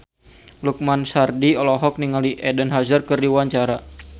Lukman Sardi olohok ningali Eden Hazard keur diwawancara